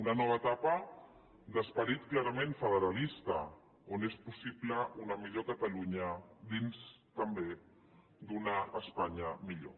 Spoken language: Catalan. una nova etapa d’esperit clarament federalista on és possible una millor catalunya dins també d’una espanya millor